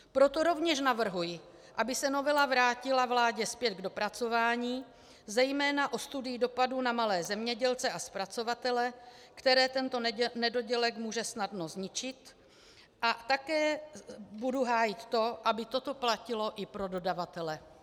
Proto rovněž navrhuji, aby se novela vrátila vládě zpět k dopracování, zejména o studii dopadu na malé zemědělce a zpracovatele, které tento nedodělek může snadno zničit, a také budu hájit to, aby toto platilo i pro dodavatele.